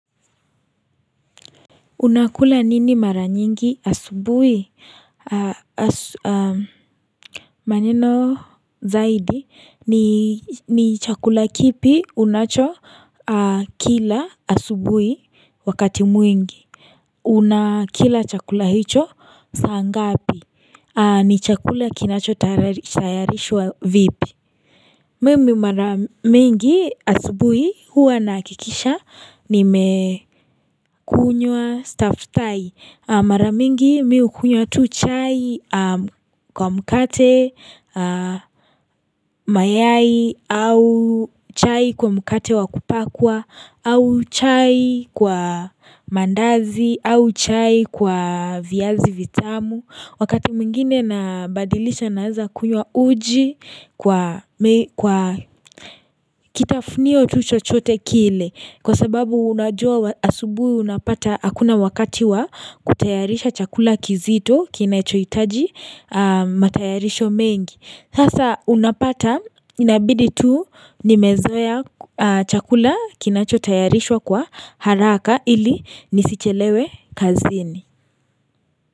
Unakula nini mara nyingi asubuhi? Maneno zaidi ni chakula kipi unacho kila asubuhi wakati mwingi unakila chakula hicho saa ngapi ni chakula kinachotayarishwa vipi? Mimi mara mingi asubuhi huwa nahakikisha nime kunywa staftahi mara mingi mi hukunywa tu chai kwa mkate mayai au chai kwa mkate wa kupakwa au chai kwa maandazi au chai kwa viazi vitamu. Wakati mwingine nabadilisha naweza kunywa uji kwa kitafunio tu chochote kile Kwa sababu unajua asubuhi unapata hakuna wakati wa kutayarisha chakula kizito kinachohitaji matayarisho mengi. Sasa unapata inabidi tu nimezoea chakula kinachotayarishwa kwa haraka ili nisichelewe kazini.